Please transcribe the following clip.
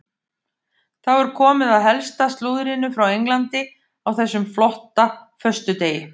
Þá er komið að helsta slúðrinu frá Englandi á þessum flotta föstudegi.